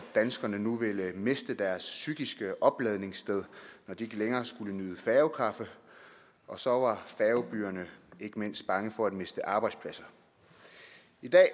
danskerne ville miste deres psykiske opladningssted når de ikke længere skulle nyde færgekaffe og så var færgebyerne ikke mindst bange for at miste arbejdspladser i dag